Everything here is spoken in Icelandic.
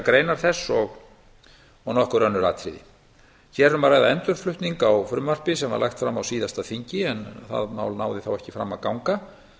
greinar þess og nokkur önnur atriði hér er um ræða endurflutning á frumvarpi sem var lagt fram á síðasta þingi en það mál náði þó ekki fram að ganga ég